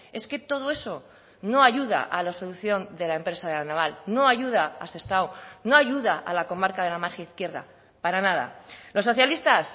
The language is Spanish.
es que todo eso no ayuda a la solución de la empresa de la naval no ayuda a sestao no ayuda a la comarca de la margen izquierda para nada los socialistas